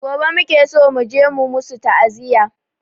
Gobe muke so muje mu musu ta'aziya